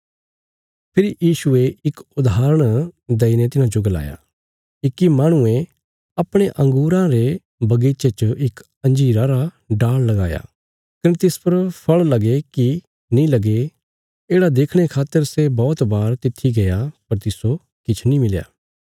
फेरी यीशुये इक उदाहरण देईने तिन्हाजो गलाया इक्की माहणुये अपणे अंगूरां रे बगीचे च इक अंजीरा रा डाल़ लगाया कने तिस पर फल़ लगे कि नीं लगे येढ़ा देखणे खातर सै बौहत बार तित्थी गया पर तिस्सो किछ नीं मिल्या